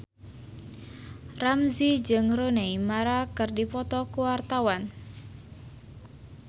Ramzy jeung Rooney Mara keur dipoto ku wartawan